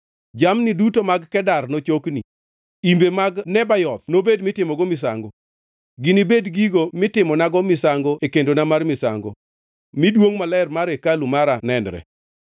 Jamni duto mag Kedar nochokni, imbe mag Nebayoth nobed mitimogo misango; ginibed gigo mitimonago misango e kendona mar misango, mi duongʼ maler mar hekalu mara nenre.